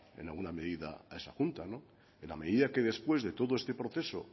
en alguna medida a esa junta en la medida que después de todo este proceso